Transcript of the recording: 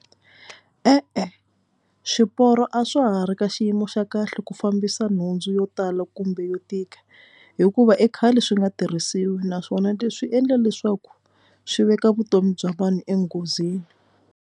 E-e swiporo a swa ha ri ka xiyimo xa kahle ku fambisa nhundzu yo tala kumbe yo tika hikuva i khale swi nga tirhisiwi naswona leswi endla leswaku swi veka vutomi bya vanhu enghozini.